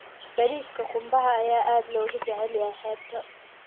Bariiska qumbaha ayaa aad looga jecel yahay xeebta.